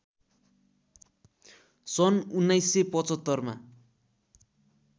सन् १९७५मा